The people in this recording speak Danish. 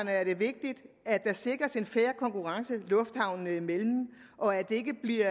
er det vigtigt at der sikres en fair konkurrence lufthavnene imellem og at det ikke bliver